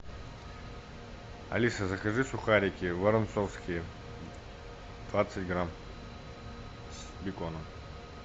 алиса закажи сухарики воронцовские двадцать грамм с беконом